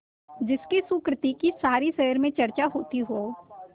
जिसकी सुकृति की सारे शहर में चर्चा होती हो